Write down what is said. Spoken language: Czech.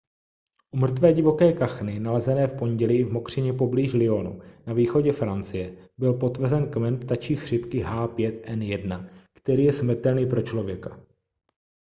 u mrtvé divoké kachny nalezené v pondělí v mokřině poblíž lyonu na východě francie byl potvrzen kmen ptačí chřipky h5n1 který je smrtelný pro člověka